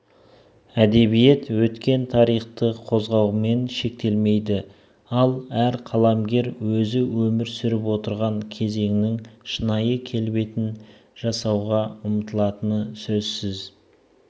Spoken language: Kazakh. әдебиет өткен тарихты қозғаумен шектелмейді ал әр қаламгер өзі өмір сүріп отырған кезеңнің шынайы келбетін жасауға ұмытылатыны сөзсіз